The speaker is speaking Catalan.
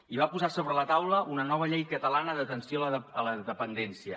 i va posar sobre la taula una nova llei catalana d’atenció a la dependència